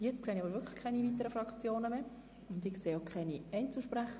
Ich bitte Sie im Namen der Regierung, diese Anträge abzulehnen.